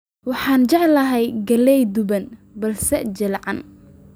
Waxaan jeclahay galley duban balse jilcan